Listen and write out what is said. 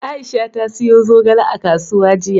Aisha ta siyo zogale a kasuwa jiya.